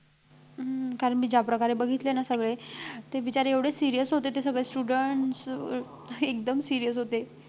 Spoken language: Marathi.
हम्म कारण मी ज्या प्रकारे बघितले ना सगळे ते बिचारे एवढे serious होते ते सगळे students एकदम serious होते